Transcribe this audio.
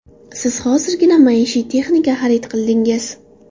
Siz hozirgina maishiy texnika xarid qildingiz.